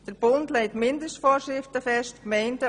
Der Bund legt Mindestvorschriften fest.